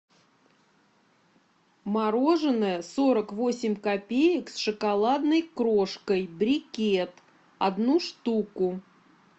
мороженое сорок восемь копеек с шоколадной крошкой брикет одну штуку